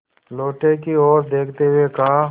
लोटे की ओर देखते हुए कहा